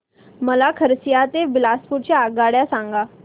मला खरसिया ते बिलासपुर च्या आगगाड्या सांगा